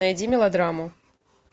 найди мелодраму